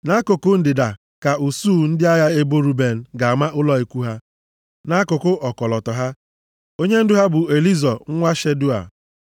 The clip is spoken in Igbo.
Nʼakụkụ ndịda ka usuu ndị agha ebo Ruben ga-ama ụlọ ikwu ha nʼakụkụ ọkọlọtọ ha. Onyendu ha bụ Elizọ nwa Shedeua.